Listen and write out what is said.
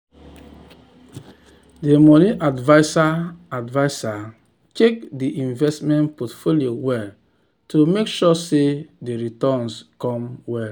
d money adviser adviser check di investment portfolio well to make sure sey di returns go come well.